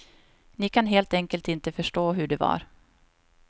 Ni kan helt enkelt inte förstå hur det var.